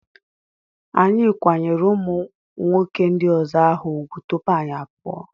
Anyị kwanyere ụmụnwoke ndị ọzọ ahụ ugwu tupu anyị apụọ.